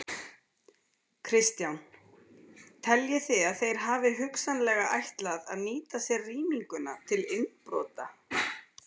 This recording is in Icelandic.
Kristján: Teljið þið að þeir hafi hugsanlega ætlað að nýta sér rýminguna til innbrota?